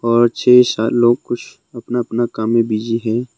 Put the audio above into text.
और छे सात लोग कुछ अपना अपना काम में बिजी हैं।